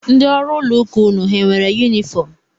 Ndị ọrụ ụlọụka unu hà nwere yunifọm?